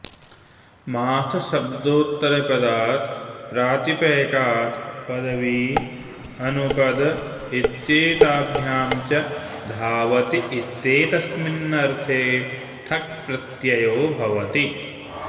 माथशब्दौत्तरपदात् प्रातिपैकात् पदवी अनुपद इत्येताभ्यां च धावति इत्येतस्मिन्नर्थे ठक् प्रत्ययो भवति